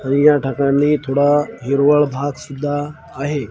आणि या ढगांनी थोडा हिरवळ भाग सुद्धा आहे.